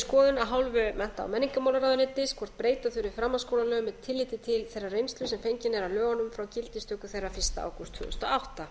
skoðun af hálfu mennta og mennignarmálaráðuentyis hvort breyta þurfi framhaldsskólalögum með tilliti til þeirrar reynslu sem fengin er af lögunum frá gildistöku þeirra fyrsta ágúst tvö þúsund og átta